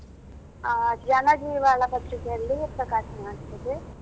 ಆ ಜನ ಜೀವಾಳ ಪತ್ರಿಕೆಯಲ್ಲಿ ಪ್ರಕಾಶನ ಆಗ್ತದೆ.